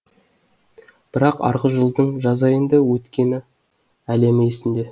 бірақ арғы жылдың жаз айында өткені әлем есімде